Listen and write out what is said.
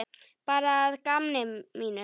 Bara að gamni mínu.